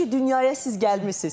Yaxşı ki, dünyaya siz gəlmisiz.